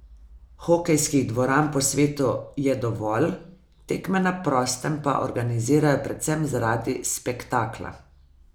Hokejskih dvoran po svetu je dovolj, tekme na prostem pa organizirajo predvsem zaradi spektakla.